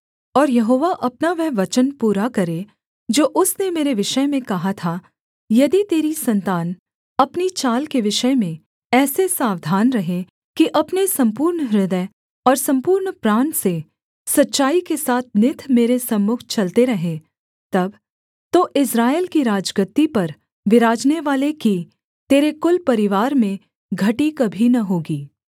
और यहोवा अपना वह वचन पूरा करे जो उसने मेरे विषय में कहा था यदि तेरी सन्तान अपनी चाल के विषय में ऐसे सावधान रहें कि अपने सम्पूर्ण हृदय और सम्पूर्ण प्राण से सच्चाई के साथ नित मेरे सम्मुख चलते रहें तब तो इस्राएल की राजगद्दी पर विराजनेवाले की तेरे कुल परिवार में घटी कभी न होगी